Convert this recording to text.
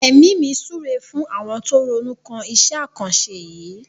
Èmi mi súre fún àwọn tó ronú kan iṣẹ́ àkànṣe yìí.